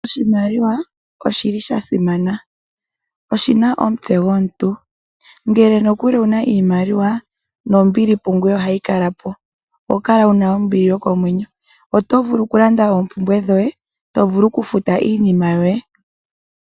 Oshimaliwa oshi li sha simana, oshina omutse gomuntu. Ngele nokuli owuna iimaliwa, nombili pungoye ohayi kala po, oho kala wuna ombili yokomwenyo. Oto vulu okulanda oompumbwe dhoye, to vulu okufuta iinima yoye.